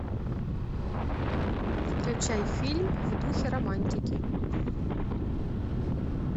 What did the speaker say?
включай фильм в духе романтики